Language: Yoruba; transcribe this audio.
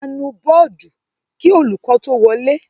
A nu bọ́ọ́dù kí olùkọ́ tó wọlé.